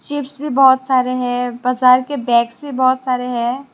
Chips भी बहुत सारे हैं बाजार के बैक्से बहुत सारे हैं।